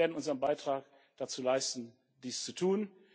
Wir werden unseren Beitrag dazu leisten dies zu tun.